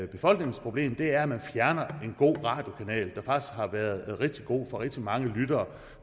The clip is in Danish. befolkningens problem er at man fjerner en god radiokanal der faktisk har været rigtig god for rigtig mange lyttere